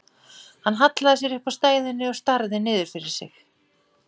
Hann hallaði sér upp að stæðunni og starði niður fyrir sig.